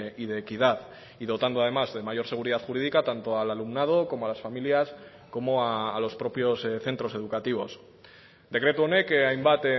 y de equidad y dotando además de mayor seguridad jurídica tanto al alumnado como a las familias como a los propios centros educativos dekretu honek hainbat